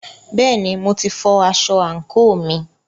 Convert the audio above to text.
Bẹ́ẹ̀ni, mo ti fọ aṣọ àǹkóò mi.